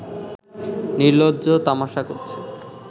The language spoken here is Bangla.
নিলর্জ্জ তামাশা করছে